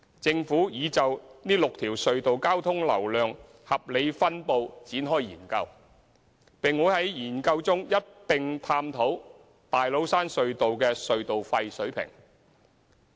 政府已就這6條隧道交通流量合理分布展開研究，並會在該研究中一併探討大老山隧道的隧道費水平。